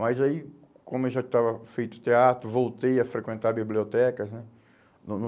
Mas aí, como eu já estava feito teatro, voltei a frequentar bibliotecas, né? No no